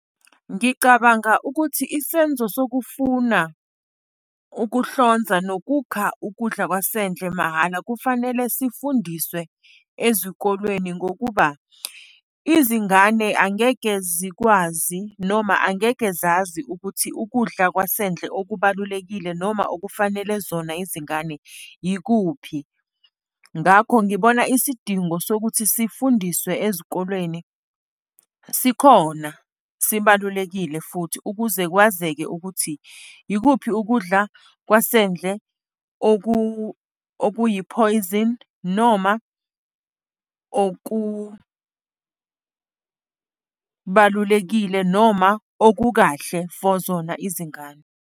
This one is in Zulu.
Ngicabanga ukuthi isenzo sokufuna ukuhlonza nokukha ukudla kwasendle mahhala kufanele sifundiswe ezikolweni, ngokuba izingane angeke zikwazi noma angeke zazi ukuthi ukudla kwasendle okubalulekile noma okufanele zona izingane yikuphi. Ngakho ngibona isidingo sokuthi sifundiswe ezikolweni. Sikhona, sibalulekile futhi, ukuze kwazeke ukuthi ikuphi ukudla kwasendle okuyi-poison noma okubalulekile noma okukahle for zona izingane.